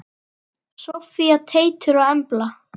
Soffía, Teitur og Embla.